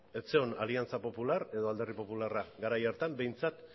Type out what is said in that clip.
ez zegoen aliantza popular edo alderdi popularra garai hartan behintzat